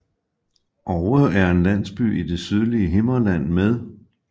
Oue er en landsby i det sydlige Himmerland med